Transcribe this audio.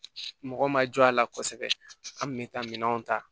Mɔgɔ ma jɔ a la kosɛbɛ an kun bɛ taa minɛnw ta